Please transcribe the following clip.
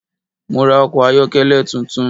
Mo ra ọkọ̀ ayọ́kẹ́lẹ́ tuntun